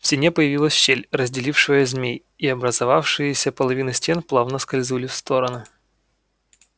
в стене появилась щель разделившая змей и образовавшиеся половины стен плавно скользнули в стороны